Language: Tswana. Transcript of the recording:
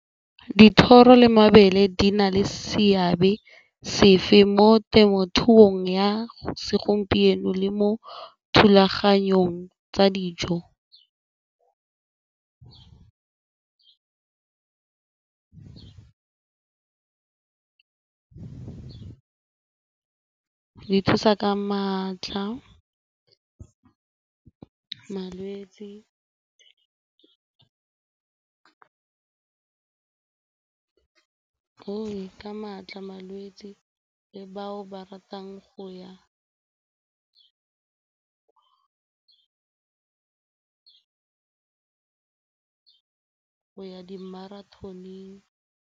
Dithoro le mabele di na le seabe sefe mo temothuong ya segompieno le mo thulaganyong tsa dijo? Di thusa ka maatla, malwetse le bao ba ratang go ya di-marathon-eng.